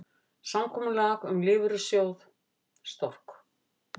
Samkomulag um lífeyrissjóð Stork